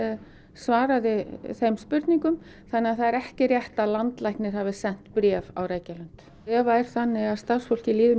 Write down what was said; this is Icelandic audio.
svaraði þeim spurningum þannig að það er ekki rétt að landlæknir hafi sent bréf á Reykjalund ef það er þannig að starfsfólkinu líður